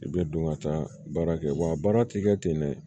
I bɛ don ka taa baara kɛ wa baara ti kɛ ten dɛ